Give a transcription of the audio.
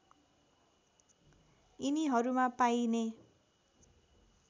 यिनीहरूमा पाइने